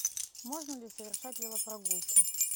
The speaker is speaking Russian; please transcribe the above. можно ли совершать велопрогулки